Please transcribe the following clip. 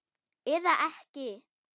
Eða ekki!